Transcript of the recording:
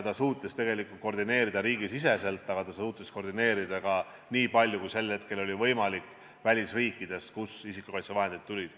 Ta suutis koordineerida riigisiseselt, aga ta suutis seda koordineerida ka, niipalju kui sel hetkel oli võimalik, välisriikides, kust isikukaitsevahendid tulid.